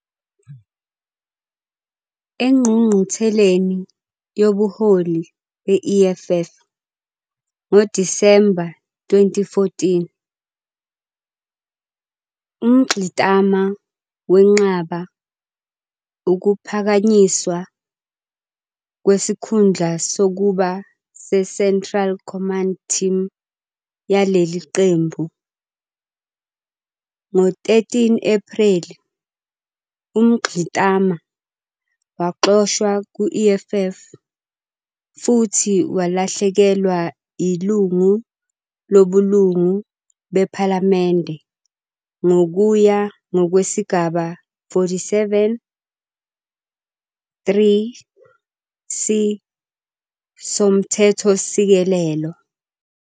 Engqungqutheleni yobuholi be-EFF ngoDisemba 2014, uMngxitama wenqaba ukuphakanyiswa kwesikhundla sokuba seCentral Command Team yaleli qembu. Ngo-13 Ephreli, uMngxitama waxoshwa ku-EFF futhi walahlekelwa yilungu lobulungu bephalamende ngokuya ngokwesigaba 47, 3, c, soMthethosisekelo.